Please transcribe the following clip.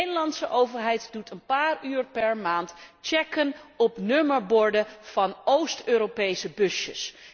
De Nederlandse overheid doet een paar uur per maand checks op nummerborden van Oost Europese busjes.